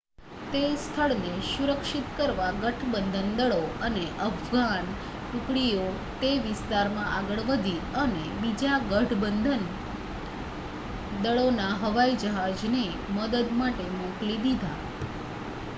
તે સ્થળને સુરક્ષિત કરવા ગઠબંધન દળો અને અફઘાન ટુકડીઓ તે વિસ્તારમાં આગળ વધી અને બીજા ગઠબંધન દળોના હવાઈજહાજને મદદ માટે મોકલી દીધા